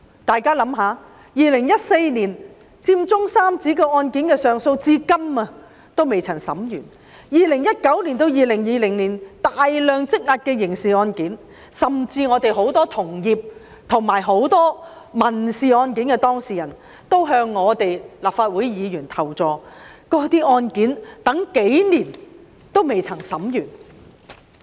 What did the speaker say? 大家試想想 ，2014 年佔中三子上訴案件的審訊至今仍未完結 ，2019 年至2020年積壓的大量刑事案件，甚至我有很多同業及民事案件的當事人也向立法會議員求助，他們說案件審訊期等了數年仍未完結。